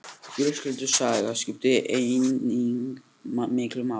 Fjölskyldusaga skiptir einnig miklu máli.